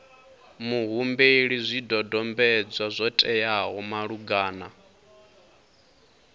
muhumbeli zwidodombedzwa zwo teaho malugana